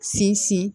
Sinsin